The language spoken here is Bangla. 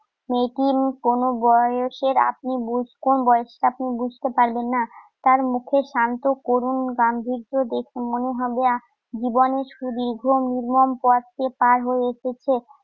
মেয়েটির কোন বয়সের আপনি বুঝতে~ বয়সটা আপনি বুঝতে পারবেন না। তার মুখের শান্ত করুণ গাম্ভীর্য দেখে মনে হবে আহ জীবনের সুদীর্ঘ নির্মম পথ সে পাড় হয়ে এসেছে।